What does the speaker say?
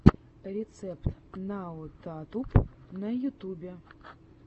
рецепт наотатуб на ютюбе